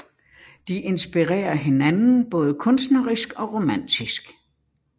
De inspirerer hinanden både kunsterisk og romantisk